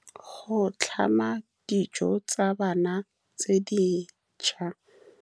Go tlhama dijo tsa bana tse dišwa.